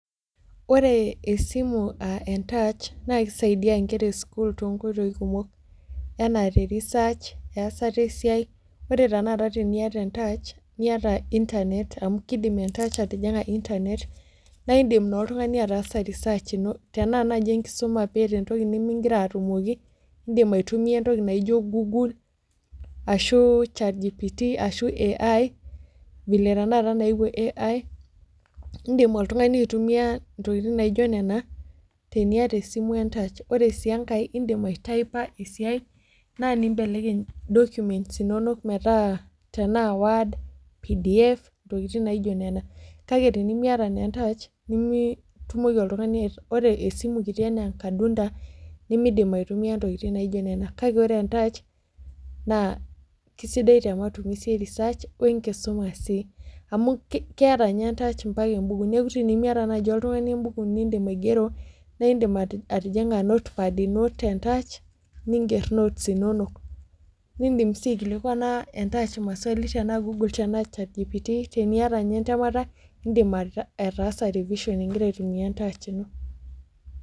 Ore esimu touch naa kisaidia enkera esukuul too nkoitoi kumok enaa te research eyasata esiai ore tanakata teniate ee touch niata internet amu kidim ee ntach atijinga internet naa edim oltung'ani ataasa research eno naa tenaa enkisuma nigira oltung'ani atumoki edim aitumia entoki naijio google ore sii enkae edim aityper esiai naa nibelekeny documents enono metaa ena word pdf tokitin naijio Nena kae tenimiata naa entach nimiyumoki naa oltung'ani ore esimu kiti enaa enkadunda nimidim aitumia ntokitin naijio Nena kake ore pee entach nA kisidai tee matumizi research enkisuma sii amu keeta entach ebukui neeku tenimiata naaji oltung'ani ebukui nidim aigero naa edim atijinga notepad eno tee ntach niger notes enono nidim sii aikilikuana entach maswali teniata ninye entemata edim ataasa revision